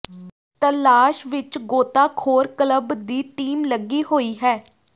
ਤਲਾਸ਼ ਵਿੱਚ ਗੋਤਾਖ਼ੋਰ ਕਲੱਬ ਦੀ ਟੀਮ ਲੱਗੀ ਹੋਈ ਹੈ